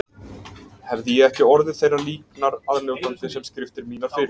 Hefði ég ekki orðið þeirrar líknar aðnjótandi sem skriftir mínar fyrir